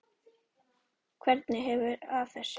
Hvernig ferðu að þessu?